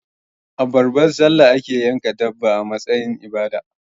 A babbar sallah ake yanka dabba a matsayin ibada